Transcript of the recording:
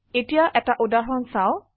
এতিয়া এটা উদাহৰণ চাও